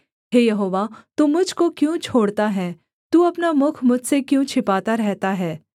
हे Jehovah तू मुझ को क्यों छोड़ता है तू अपना मुख मुझसे क्यों छिपाता रहता है